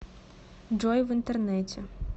джой в интернете